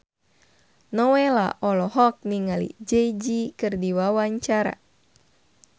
Nowela olohok ningali Jay Z keur diwawancara